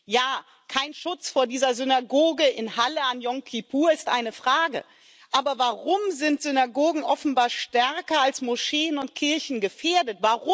Ja, kein Schutz vor dieser Synagoge in Halle an Jom Kippur ist eine Frage, aber warum sind Synagogen offenbar stärker als Moscheen und Kirchen gefährdet?